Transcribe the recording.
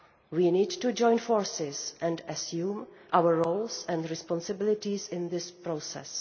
We need to join forces and assume our roles and responsibilities in this process.